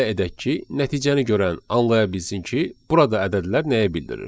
Gəlin elə edək ki, nəticəni görən anlaya bilsin ki, burada ədədlər nəyi bildirir.